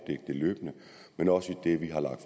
det løbende men også i det vi har lagt